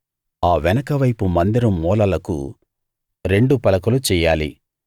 ఆ వెనక వైపు మందిరం మూలలకు రెండు పలకలు చెయ్యాలి